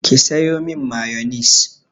Ki sayo min mayonis!